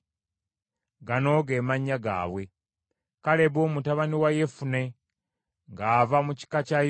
“Gano ge mannya gaabwe: “Kalebu mutabani wa Yefune ng’ava mu kika kya Yuda.